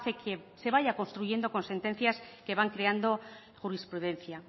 que se vaya construyendo con sentencias que van creando jurisprudencia